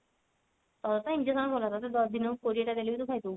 ତୋର ତ injection ଭଲ ତତେ ଦିନ କୁ କୋଡିଏ ଟା ଦେଲେ ବି ଖାଇଦବୁ